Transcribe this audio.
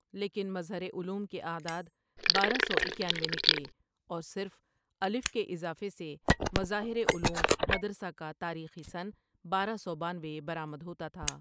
لیکن مظہرعلوم کے اعداد بارہ سواکیانوے نکلے اور صرف الف کے اضافے سے مظاہرعلوم مدرسہ کا تاریخی سن بارہ سو بانوے برآمدہوتا تھا ۔